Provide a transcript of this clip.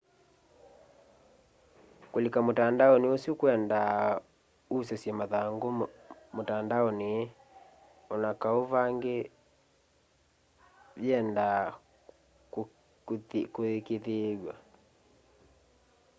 kũlĩka mũtandaonĩ ũsũ kwendaa ũsyũsye mathangũ mũtandaonĩ anakaũ ve ĩngĩ yeenda kũĩkĩĩthwya